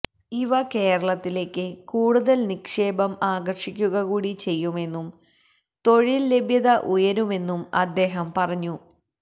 ഇവ കേരളത്തിലേക്ക് കൂടുതൽ നിക്ഷേപം ആകർഷിക്കുക കൂടി ചെയ്യുമെന്നും തൊഴിൽ ലഭ്യത ഉയരുമെന്നും അദ്ദേഹം പറഞ്ഞു